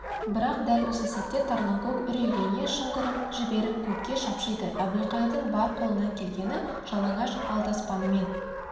бірақ дәл осы сәтте тарланкөк үрейлене шыңғырып жіберіп көкке шапшиды әбілқайырдың бар қолынан келгені жалаңаш алдаспанымен